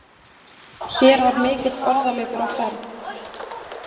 Hér var mikill orðaleikur á ferð.